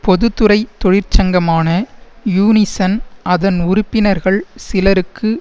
பொது துறை தொழிற்சங்கமான யூனிசன் அதன் உறுப்பினர்கள் சிலருக்கு